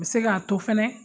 Bɛ se k'a to fɛnɛ